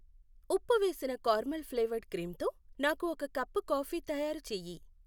ఉప్పు వేసిన caramel flavoured cream తో నాకు ఒక కప్పు కాఫీ తయారు చెయ్యి